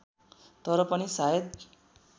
तर पनि सायद